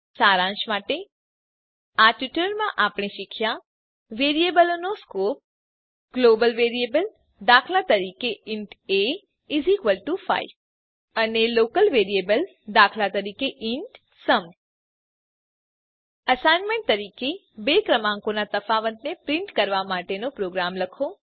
સારાંશમાં આ ટ્યુટોરીયલમાં આપણે શીખ્યા વેરીએબલનો scope global variable that int a5 અને local variable that int sum assignment તરીકે બે ક્રમાંકોનાં તફાવતને પ્રીંટ કરવાં માટેનો પ્રોગ્રામ લખો